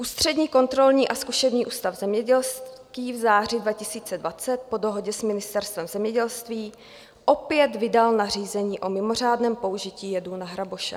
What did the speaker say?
Ústřední kontrolní a zkušební ústav zemědělský v září 2020 po dohodě s Ministerstvem zemědělství opět vydal nařízení o mimořádném použití jedů na hraboše.